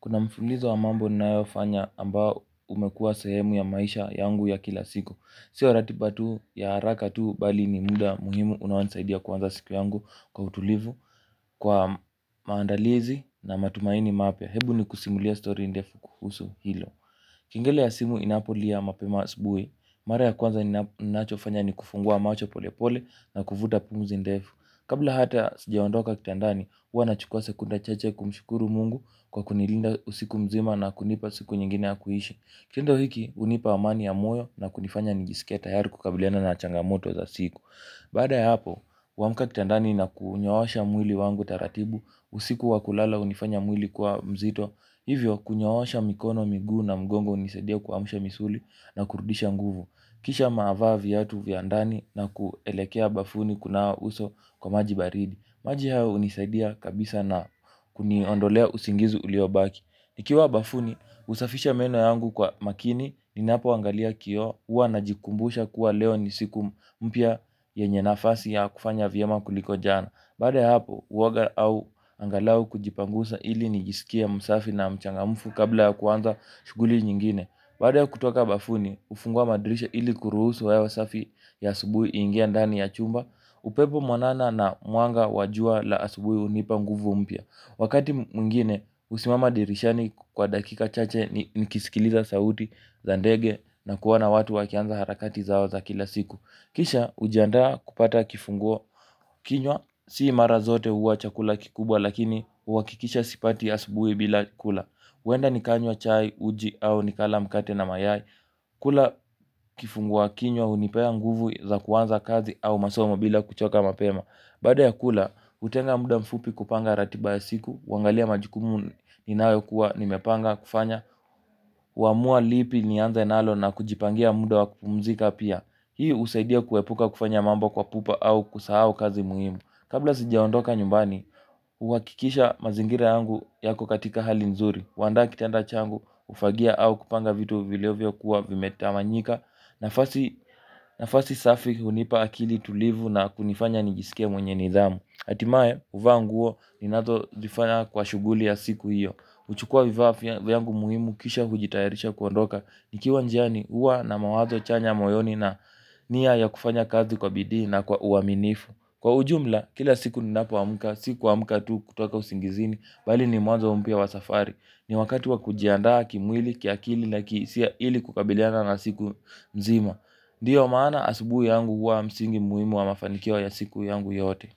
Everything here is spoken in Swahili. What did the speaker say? kuna mfululizo wa mambo ninayofanya ambao umekuwa sehemu ya maisha yangu ya kila siku. Sio ratiba tu ya haraka tu bali ni muda muhimu unawaonisaidia kuwanza siku yangu kwa utulivu. Kwa maandalizi na matumaini mapya, hebu ni kusimulie story ndefu kuhusu hilo. Kingele ya simu inapo lia mapema asibuwe, mara ya kwanza ninacho fanya ni kufungua macho pole pole na kuvuta pumzi ndefu. Kabla hata sijaondoka kitandani, hua nachukua sekunda chache kumshukuru mungu kwa kunilinda usiku mzima na kunipa siku nyingine ya kuishi tendo hiki, hunipa amani ya moyo na kunifanya nijiskie tayari kabiliana na changamoto za siku. Bada ya hapo, huamka kitandani na kunyoosha mwili wangu taratibu, usiku wakulala unifanya mwili kwa mzito. Hivyo, kunyoosha mikono, miguu na mgongo hunisaidia kwa kuamsha misuli na kurudisha nguvu. Kisha navaa vyatu vya ndani na kuelekea bafuni kunawa uso kwa maji baridi. Maji hao unisaidia kabisa na kuniondolea usingizi uliobaki. Nikiwa bafuni usafisha meno yangu kwa makini ninapo angalia kioo huwa na jikumbusha kuwa leo ni siku mpya yenye nafasi ya kufanya vyema kuliko jana. Baada hapo huoga au angalau kujipanguza ili nijisikia msafi na mchangamfu kabla ya kwanza shuguli nyingine. Bada ya kutoka bafuni, ufungua madirisha ili kuruhusu hewa safi ya asubui ingie ndani ya chumba, upepo mwanana na muanga wa jua la asubuhi unipa nguvu mpya. Wakati mwingine, husimama dirishani kwa dakika chache ni kisikiliza sauti za ndege na kuona watu wakianza harakati zao za kila siku. Kisha hujiandaa kupata kifungua. Kinywa, si mara zote huwa chakula kikubwa lakini huwakikisha sipati asubui bila kula. Wenda nikanywa chai uji au nikala mkate na mayai. Kula kifungua kinywa unipea nguvu za kuanza kazi au masomo bila kuchoka mapema. Baada ya kula hutenga muda mfupi kupanga ratiba ya siku kuangalia majukumu ninayo kuwa nimepanga kufanya kuamua lipi nianze nalo na kujipangia muda wa kupumzika pia. Hii husaidia kuepuka kufanya mambo kwa pupa au kusahau kazi muhimu. Kabla sijaondoka nyumbani huhakikisha mazingira yangu yako katika hali nzuri huaanda kitanda changu, kufagia au kupanga vitu vilivyo kuwa vimetawanyika. Nafasi safi hunipa akili tulivu na kunifanya nijisike mwenye nidhamu hatimae huva nguo ni nazo zifanya kwa shuguli ya siku hiyo. Uchukua vifa vyangu muhimu kisha hujitayarisha kuondoka. Nikiwa njiani huwa na mawazo chanya moyoni na nia ya kufanya kazi kwa bidii na kwa uaminifu. Kwa ujumla, kila siku ninapo amka, si kuamka tu kutoka usingizini bali ni mwanza mpya wa safari ni wakati wa kujiandaa kimwili kiakili la kihisia ili kukabiliana na siku mzima ndiyo maana asubuhi yangu huwa msingi muhimu wa mafanikia yaa siku yangu yote.